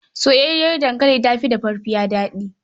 Soyayyar dankali ta fi dafaffiya daɗi.